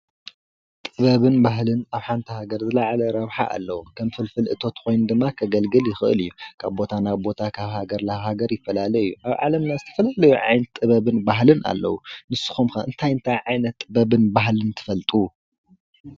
ጥበብን ባህል አብ ሓንቲ ሃገር ዝለዓለ ረብሓ ኣለዎ። ከም ፍልፍል እቶት ኮይኑ ድማ ከገልግል ይክእል እዩ። ካብ ቦታ ናብ ቦታ ካብ ሃገር ናብ ሃገር ይፈላለ እዩ። ኣብ ዓለምና ዝተፈላለዩ ጥበብ ባህልን ኣለዉ ።ንስኩም ከ እንታት እንታይ ዓይነትን ጥበብን ባህልን ትፈልጡ?